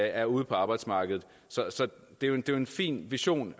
er ude på arbejdsmarkedet så det er en fin vision